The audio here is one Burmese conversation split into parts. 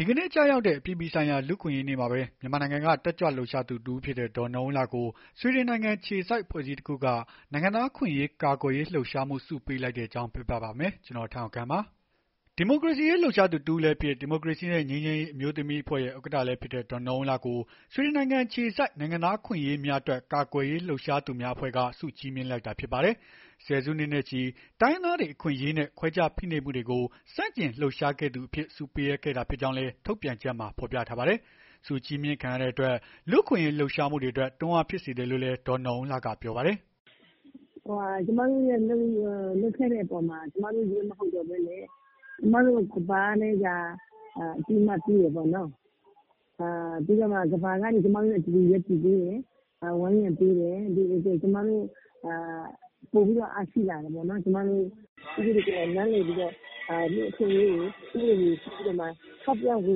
ဒီကနေ့ ကျရောက်တဲ့ အပြည်ပြည်ဆိုင်ရာ လူ့အခွင့်အရေးနေ့မှာပဲ မြန်မာနိုင်ငံက တက်ကြွလှုပ်ရှားသူတစ်ဦးဖြစ်တဲ့ ဒေါ်နော်အုံးလှကို ဆွီဒင်နိုင်ငံ အခြေစိုက်အဖွဲ့အစည်းတခုက နိုင်ငံသားအခွင့်အရေး ကာကွယ်ရေး လှုပ်ရှားမှု ဆုပေးလိုက်တဲ့အကြောင်း ပြောပြပါမယ်။ ဗွီအိုအေမြန်မာပိုင်း သတင်းထောက် ကိုထက်အောင်ခန့်က သတင်းပေးပို့ထားပါတယ်။ ဒီမိုကရေစီအရေး လှုပ်ရှားသူ တစ်ဦးလည်းဖြစ် ဒီမိုကရေစီနဲ့ ငြိမ်းချမ်းရေး အမျိုးသမီးအဖွဲ့ရဲ့ ဥက္ကဋ္ဌလည်းဖြစ်တဲ့ ဒေါ်နော်အုံးလှကို ဆွီဒင်နိုင်ငံအခြေစိုက် နိုင်ငံသားအခွင့်အရေးများအတွက် ကာကွယ်ရေးလှုပ်ရှားသူများအဖွဲ့က ဆုချီးမြှင့်လိုက်တာ ဖြစ်ပါတယ်။ ဆယ်စုနှစ်နဲ့ချီ တိုင်းရင်းသားတွေ အခွင့်အရေးနဲ့ ခွဲခြားဖိနှိပ်မှုတွေကို ဆန့်ကျင်လှုပ်ရှားခဲ့သူအဖြစ် ဆုပေးအပ်ခဲ့တာ ဖြစ်ကြောင်းလည်း ထုတ်ပြန်ချက်မှာ ဖော်ပြထားပါတယ်။ ဆုချီးမြှင့်ခံရတဲ့အတွက် လူ့အခွင့်အရေး လှုပ်ရှားမှုတွေအတွက် တွန်းအားဖြစ်စေတယ်လို့လည်း ဒေါ်နော်အုံးလှက ပြောပါတယ်။ “ကျမတို့ လုပ်ခဲ့တဲ့အပေါ်မှာ ကျမတို့ချည်းပဲ မဟုတ်ဘဲ ကျမတို့ကို ကမ္ဘာက အသိမှတ်ပြုတယ်ပေ့ါနော်။ ပြီးတော့ ကမ္ဘာက ကျမတို့နဲ့ အတူရပ်တည်ပေးတယ်။ ဝန်းရံပေးတဲ့အတွက် ကျမတို့ ပိုပြီး အားရှိလာတယ်ပေါ့နော်။ ပြည်သူတွေကိုယ်တိုင် လူ့အခွင့်အရေးတွေ ဥပဒေတွေကို ထောက်ပြဝေ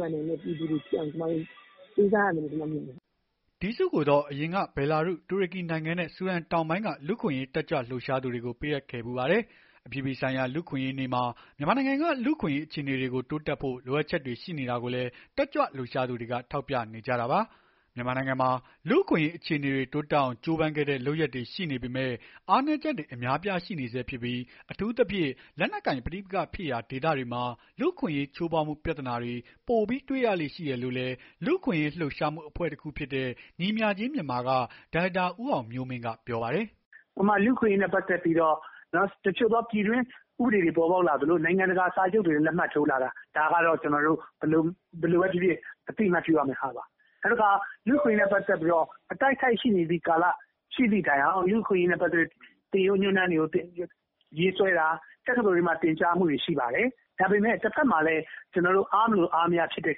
ဖန်နိုင်တဲ့ ပြည်သူတွေဖြစ်အောင်ကြိုးစားရမယ်လို ကျမတို့မြင်တယ်။” ဒီဆုကိုတော့ အရင်က ဘယ်လာရုစ်၊ တူရကီနိုင်ငံနဲ့ ဆူဒန်တောင်ပိုင်းက လူ့အခွင့်ရေး တက်ကြွလှုပ်ရှားသူတွေကို ပေးအပ်ခဲ့ဖူးပါတယ်။ အပြည်ပြည်ဆိုင်ရာ လူ့အခွင့်အရေးနေ့မှာ မြန်မာနိုင်ငံက လူ့အခွင့်အရေး အခြေအနေတွေ တိုးတက်ဖို့ လိုအပ်ချက်တွေ ရှိနေတာကိုလည်း တက်ကြွလှုပ်ရှားသူတွေ ထောက်ပြနေကြတာပါ။ မြန်မာနိုင်ငံမှာ လူ့အခွင့်အရေး အခြေအနေတွေ တိုးတက်အောင် ကြိုးပမ်းတဲ့ လုပ်ရပ်တွေ ရှိနေပေမဲ့ အားနည်းချက်တွေ အများအပြား ရှိနေဆဲဖြစ်ပြီး အထူးသဖြင့် လက်နက်ကိုင်ပဋိပက္ခဖြစ်ရာ ဒေသတွေမှာ လူ့အခွင့်အရေး ချိုးဖောက်မှု ပြဿနာတွေ ပိုပြီးတွေ့ရလေ့ ရှိတယ်လို့လည်း လူ့အခွင့်အရေး လှုပ်ရှားမှု အဖွဲ့တခုဖြစ်တဲ့ ညီမျှခြင်းမြန်မာက ဒါရိုက်တာ ဦးအောင်မျိုးမင်းက ပြောပါတယ်။ “လူ့အခွင့်အရေးနဲ့ ပတ်သက်ပြီးတော့ တချို့သော ပြည်တွင်း ဥပဒေတွေ ပေါ်ပေါက်လာသလို နိုင်ငံတကာ စာချုပ်တွေမှာ လက်မှတ်ထိုးလာတာ ဘယ်လိုပဲဖြစ်ဖြစ် အသိအမှတ်ပြုရမယ့်ဟာပါ။ နောက်တခါ လူ့အခွင့်ရေးနဲ့ ပတ်သက်လို့ အတိုက်အခိုက်ရှိနေသည့်တိုင်အောင် သင်ရိုးညွှန်းတန်းတွေ ရေးဆွဲတာ တက္ကသိုလ်တွေမှာ သင်ကြားမှုတွေရှိပါတယ်။ ဒါပေမဲ့ တဘက်မှာလည်း အားမလိုအားမရ ဖြစ်တဲ့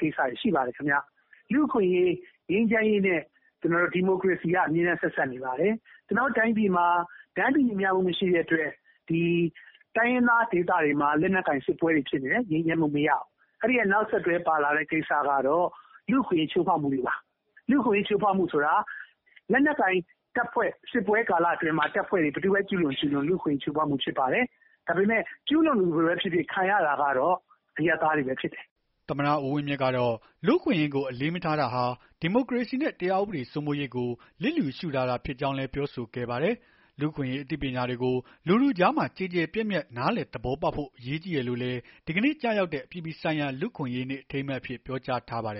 ကိစ္စတွေ ရှိပါတယ်။ လူ့အခွင့်အရေး ငြိမ်းချမ်းရေးနဲ့ ဒီမိုကရေစီက အမြဲဆက်စပ်နေပါတယ်။ ကျနော်တို့ တိုင်းပြည်မှာ တန်းတူညီမျှမှု မရှိတဲ့အတွက် တိုင်းရင်းသားဒေသတွေမှာ လက်နက်ကိုင် စစ်ပွဲတွေဖြစ်တယ်။ ငြိမ်းချမ်းမှု မရဘူး။ အဲ့ဒီရဲ့ နောက်ဆက်တွဲကိစ္စကတော့ လူ့အခွင့်အရေး ချိုးဖောက်မှုတွေပါ။ လူ့အခွင့်ရေး ချိုးဖောက်မှုတွေဆိုတာ လက်နက်ကိုင် စစ်ပွဲကာလအတွင်းမှာ ဘယ်သူပဲ ကျူးလွန်ကျူးလွန် လူ့အခွင့်ရေး ချိုးဖောက်မှု ဖြစ်ပါတယ်။ ဒါပေမဲ့ ကျူးလွန်သူပဲဖြစ်ဖြစ် ခံရတာကတော့ အရပ်သားတွေပဲဖြစ်တယ်။” သမ္မတ ဦးဝင်းမြင့်ကတော့ လူ့အခွင့်အရေးကို အလေးမထားတာဟာ ဒီမိုကရေစီရေးနဲ့ တရားဥပဒေစိုးမိုးရေးကို လျစ်လျူရှုတာသာ ဖြစ်ကြောင်း ပြောဆိုခဲ့ပါတယ်။ လူ့အခွင့်အရေး အသိပညာတွေကို လူထုကြားမှာ ကျယ်ကျယ်ပြန့်ပြန့် နားလည်သဘောပေါက်ဖို့ အရေးကြီးတယ်လို့လည်း ဒီကနေ့ ကျရောက်တဲ့ အပြည်ပြည်ဆိုင်ရာ လူ့အခွင့်အရေးနေ့ အထိမ်းအမှတ်အဖြစ် ပြောကြားထားပါတယ်